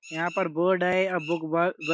यहाँ पर बोर्ड है। --